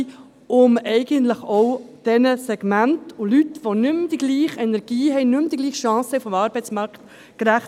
Dies, um eigentlich auch diesen Segmenten und Leuten gerecht zu werden, die nicht dieselbe Energie haben, die nicht mehr dieselben Chancen auf dem Arbeitsmarkt haben.